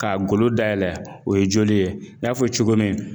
Ka golo dayɛlɛ o ye joli ye n y'a fɔ cogo min